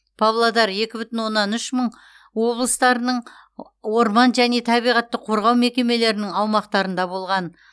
павлодар екі бүтін оннан үш мың облыстарының орман және табиғатты қорғау мекемелерінің аумақтарында болған